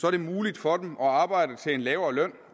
er det muligt for dem at arbejde til en lavere løn